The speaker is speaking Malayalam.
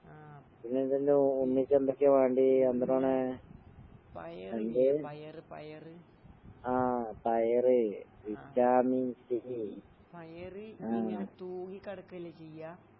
ആഹ് പയറില്ലേ? പയറ് പയറ്. ആഹ്. പയറ് ഇങ്ങനെ തൂങ്ങിക്കെടക്കല്ലേ ചെയ്യാ.